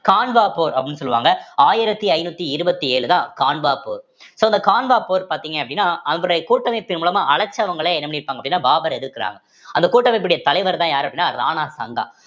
கான்வா போர் அப்படீன்னு சொல்லுவாங்க ஆயிரத்தி ஐநூத்தி இருபத்தி ஏழுதான் கான்வா so இந்த கான்வா போர் பார்த்தீங்க அப்படின்னா அதனுடைய கூட்டமைப்பின் மூலமா அழைச்சவங்களே என்ன பண்ணிருப்பாங்க அப்படின்னா பாபரை எதிர்க்கிறாங்க அந்த கூட்டமைப்பினுடைய தலைவர்தான் யாரு அப்படின்னா ராணா சங்கா